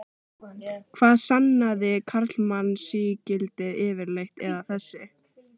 Hvað sannaði karlmannsígildið yfirleitt, eða þessi